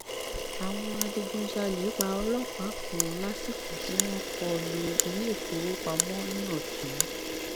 àwọn adigunjalè pa ọlọpàá kan lásìkò tí wọn kọ lu iléèfowópamọ ní ọtún